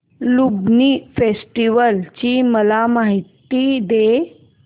Lumbini festival ची मला माहिती दे